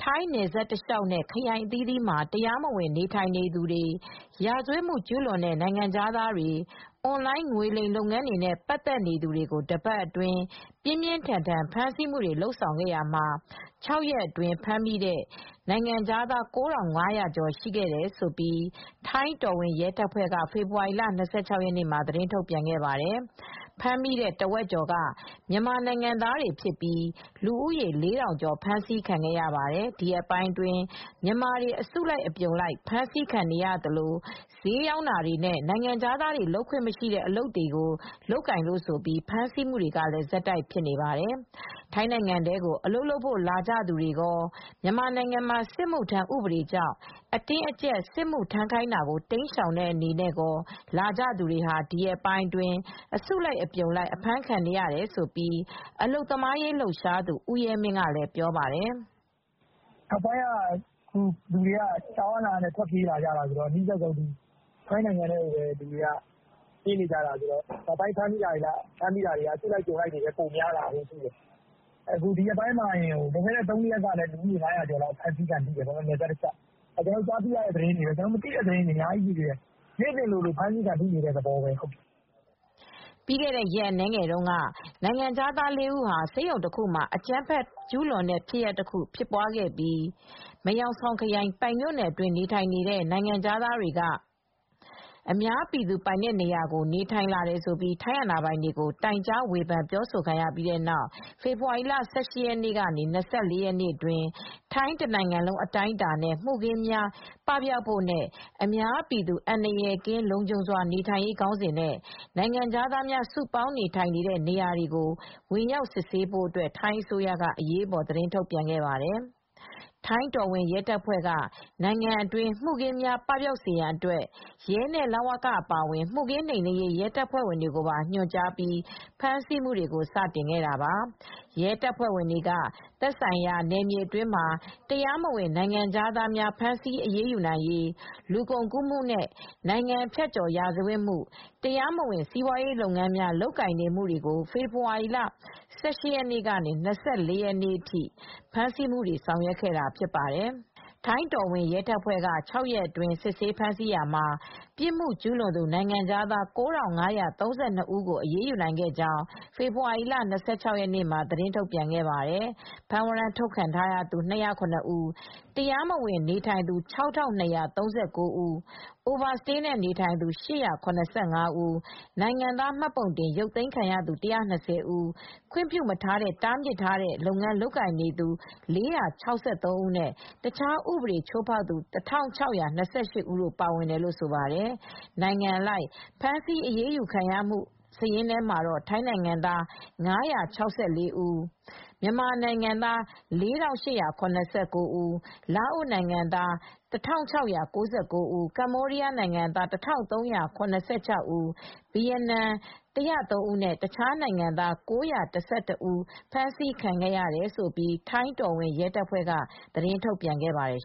ိုင်းနယ်စပ်တလျှောက်နဲ့ ခရိုင်အသီးသီးမှာ တရားမဝင်နေထိုင်နေသူတွေ၊ ရာဇဝတ်မှုကျူးလွန်တဲ့ နိုင်ငံခြားသားတွေ ၊ အွန်လိုင်းငွေလိမ်လုပ်ငန်းတွေနဲ့ပတ်သက်သူတွေကိုတပတ်အတွင်းပြင်းပြင်းထန်ထန်ဖမ်းဆီးလာတာမှာ ၆ရက်အတွင်းဖမ်းမိတဲ့နိုင်ငံခြားသား ၉၅၀၀ ကျော်ရှိတယ်လို့ ထိုင်းတော်ဝင်ရဲတပ်ဖွဲ့က ဖေဖေါ်ဝါရီလ ၂၆ ရက်နေ့မှာ သတင်းထုတ်ပြန်ခဲ့ပါတယ်။ ဖမ်းမိတဲ့အထဲမှာ တဝက်ကျော်က မြန်မာနိုင်ငံသားတွေဖြစ်ပြီး လူဦးရေ ၄ထောင်ကျော်ဖြစ်ပါတယ်။ ဒီရက်ပိုင်းအတွင်းမြန်မာတွေ အစုလိုက်အပြုံလိုက်ဖမ်းဆီးခံနေရသလို စျေးရောင်းတာတွေနဲ့ နိုင်ငံခြားသားတွေလုပ်ခွင့်မရှိတဲ့ အလုပ်အကိုင်တွေကို ဝင်လုပ်လို့ဆိုပြီး ဆက်တိုက်ဖမ်းဆီးနေတာပါ။ ထိုင်းနိုင်ငံထဲကို အလုပ်လုပ်ဖို့လာကြသူတွေရော မြန်မာနိုင်ငံမှာစစ်မှု ထမ်းဥပဒေကြောင့် အတင်းအကြပ် စစ်မှု ထမ်းခိုင်းတာကိုတိမ်းရှောင်တဲ့အနေနဲ့ရော ထိုင်းကို ဝင်လာကြသူတွေ ဒီရက်ပိုင်းအတွင်း အစုလိုက်အပြုံလိုက်အဖမ်းခံနေရတယ်လို့ အလုပ်သမားရေးလှုပ်ရှားသူ ဦးရဲမင်းကလည်းပြောပါတယ်။ “လူတွေက ကြောက်အားလန့်အားနဲ့ ထွက်ပြေးနေကြတာဆိုတော့ အနီးစပ်ဆုံး ထိုင်းနိုင်ငံထဲကိုပဲပြေးလာကြတာ။ နောက်ပိုင်းမှာလည်း အစုလိုက်အပြုံလိုက်ထွက်ပြေးလာမယ့်အခြေအနေတွေရှိပါတယ်။ အခုလည်းဒီရက်ပိုင်းမှာပဲ လွန်ခဲ့တဲ့ ၃ရက်လောက်ကပဲဖမ်းမိတာက ၅၀၀ကျော်ရှိတယ်။ ကျနော်တို့သိတဲ့သတင်းပဲရှိသေးတယ်။ မသိတာတွေကအများကြီးပဲ နေ့စဉ်လည်းအဖမ်းခံနေရပါတယ်။” ပြီးခဲ့တဲ့ ရက်အနည်းငယ်တုန်းကလည်း နိုင်ငံခြားသား ၄ ဦး ဆေးရုံတခုမှာ အကြမ်းဖက်ကျူးလွန်တဲ့ဖြစ်စဉ်တရပ်ဖြစ်ပွားခဲ့ပါသေးတယ်။ မယ်ဟောင်ဆောင်ခရိုင်၊ ပိုင်မြို့နယ်အတွင်းနေထိုင်နေတဲ့ နိုင်ငံခြားသားတွေက အများပြည်သူပိုင်တဲ့နေရာတွေမှာ နေထိုင်လာတယ်ဆိုပြီး ထိုင်းအာဏာပိုင်တွေ တိုင်ကြား ဝေဖန်ပြောဆိုခံခဲ့ရတာပါ။ အဲဒီနောက် ဖေဖော်ဝါရီ ၁၈ ရက်နေ ၂၄ ရက်အတွင်း ထိုင်းတနိုင်ငံလုံးအတိုင်းအတာနဲ့ မှုခင်း ပပျောက်စေဖို့နဲ့ အများပြည်သူအန္တရာယ်ကင်း လုံခြုံစွာနေထိုင်နိုင်ရေး ခေါင်းစဉ်နဲ့ နိုင်ငံခြားသားများစုပေါင်းနေထိုင်တဲ့နေရာတွေကို ဝင်ရောက်စစ်ဆေးဖို့အတွက် ထိုင်းအစိုးရက အရေးပေါ်ထုတ်ပြန်ခဲ့တာပါ။ ထိုင်းတော်ဝင်ရဲတပ်ဖွဲ့က နိုင်ငံအတွင်းမှုခင်းတွေ ပပျောက်စေရေးအတွက်ရဲနဲ့ လ၀က အပါအဝင် မှုခင်းနှိမ်နင်းရေးရဲတပ်ဖွဲ့တွေကို ညွှန်ကြားပြီး စတင်ဖမ်းဆီးလာခဲ့တာဖြစ်ပါတယ်။ ရဲတပ်ဖွဲ့တွေက သက်ဆိုင်ရာ နယ်မြေအတွင်းမှာ တရားမဝင်နိုင်ငံခြားသားတွေကို ဖမ်းဆီးအရေးယူနိုင်ရေး၊ လူကုန်ကူးမှု နဲ့ နိုင်ငံဖြတ်ကျော်ရာဇဝတ်မှု၊ တရားမဝင် စီးပွားရေးလုပ်ငန်းများလုပ်ကိုင်နေမှုတွေကို ဖေဖော်ဝါရီ ၁၈ ရက်ကနေ ၂၄ ရက်အထိ ဖမ်းဆီးအရေးယူဆောင်ရွက်ခဲ့တာဖြစ်ပါတယ်။ ထိုင်းတော်ဝင်ရဲတပ်ဖွဲ့က ၆ ရက်အတွင်းစစ်ဆေးဖမ်းဆီးရာမှာ ပြစ်မှုကျူးလွန်သူ နိုင်ငံခြားသား ၉၅၃၂ ဦးတို့ကို အရေးယူနိုင်ခဲ့ကြောင်း ဖေဖော်ဝါရီလ ၂၆ ရက်နေ့က သတင်းထုတ်ပြန်ခဲ့ပါတယ်။ ဖမ်းဝရမ်းထုတ်ထားပြီးသူ ၂၀၇ ဦး၊ တရားမဝင်နေထိုင်သူ ၆၂၃၉ ဦး၊ Over stay နဲ့နေထိုင်သူ၈၇၅ ဦး၊ နိုင်ငံသားမှတ်ပုံတင်ရုပ်သိမ်းခံထားရသူ ၁၂၀ ဦး၊ ခွင့်မပြုမထားတဲ့ တားမြစ်လုပ်ငန်းလုပ်ကိုင်သူ ၄၆၃ ဦးနဲ့ အခြားဥပဒေချိုးဖောက်သူ ၁၆၂၈ ဦးတိုပါဝင်တယ်လို့ဆိုပါတယ်။ နိုင်ငံအလိုက်ဖမ်းဆီးအရေးယူခံရသူတွေထဲမှာတော့ ထိုင်းနိုင်ငံသား ၅၆၄ ဦး၊ မြန်မာနိုင်ငံသား ၄၈၇၉ ဦး၊ လာအို ၁၆၉၉ ဦး၊ ကမ္ဘောဒီးယား ၁၃၇၆ ဦး၊ ဗီယက်နမ် ၁၀၃ ဦနဲ့ အခြားနိုင်ငံသား ၉၁၁တို့ ပါဝင်တယ်လို့လည်း ထိုင်းတော်ဝင်ရဲတပ်ဖွဲ့က သတင်း ထုတ်ပြန်ခဲ့ပါတယ်